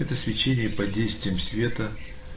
это свечение под действием света